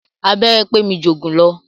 Abẹ́rẹ́ pé mi jù òògùn lọ.